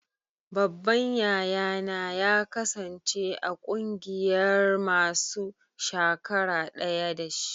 Babban yaya na ya kasance a ƙungiyan masun shakara daya da shi.